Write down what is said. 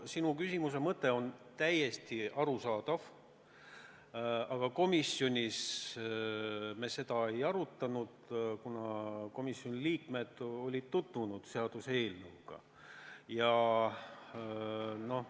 Sinu küsimuse mõte on täiesti arusaadav, aga komisjonis me seda ei arutanud, kuna komisjoni liikmed olid seaduseelnõuga tutvunud.